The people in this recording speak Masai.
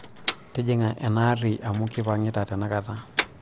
tijing'a enaa aarri amuu kipang'ita tenakata